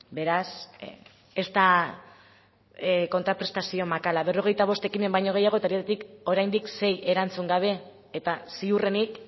beraz ez da kontraprestazio makala berrogeita bost ekimen baino gehiagotatik oraindik sei erantzun gabe eta ziurrenik